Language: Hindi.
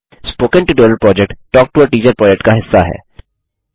spoken tutorial project talk to a teacher project का हिस्सा है